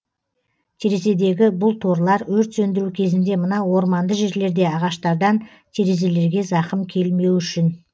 терезедегі бұл торлар өрт сөндіру кезінде мына орманды жерлерде ағаштардан терезелерге зақым келмеу үшін